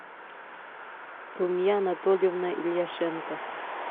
румия анатольевна ильяшенко